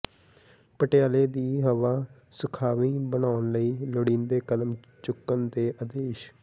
ਪਟਿਆਲੇ ਦੀ ਹਵਾ ਸੁਖਾਵੀਂ ਬਣਾਉਣ ਲਈ ਲੋੜੀਂਦੇ ਕਦਮ ਚੁੱਕਣ ਦੇ ਆਦੇਸ਼